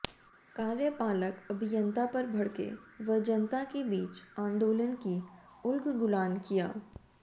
कार्यपालक अभियंता पर भड़के व जनता के बीच आंदोलन की उलगुलान किया